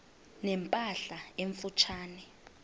ne mpahla emfutshane